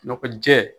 Nɔgɔ jɛɛ